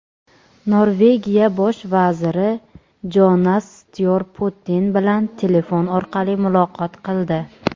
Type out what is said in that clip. Norvegiya Bosh vaziri Jonas Styor Putin bilan telefon orqali muloqot qildi.